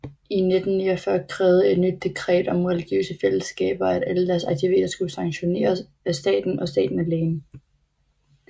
I 1949 krævede et nyt dekret om religiøse fællesskaber at alle deres aktiviteter skulle sanktioneres af staten og staten alene